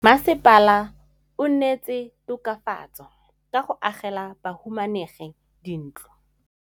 Mmasepala o neetse tokafatsô ka go agela bahumanegi dintlo.